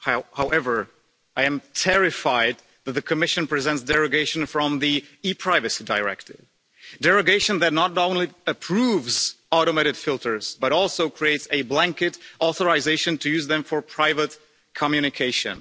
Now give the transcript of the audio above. However, I am terrified that the Commission is presenting a derogation from the ePrivacy Directive a derogation that not only approves automated filters, but also creates a blanket authorisation to use them for private communication.